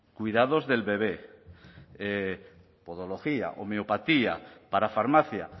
cuidados del bebé podología homeopatía parafarmacia